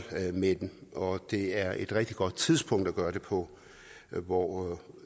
med dem og det er et rigtig godt tidspunkt at gøre det på nu hvor